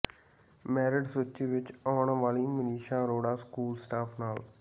merit ਸੂਚੀ ਵਿੱਚ ਆਉਣ ਵਾਲੀ ਮਾਨਸੀ ਅਰੋੜਾ ਸਕੂਲ ਸਟਾਫ ਨਾਲ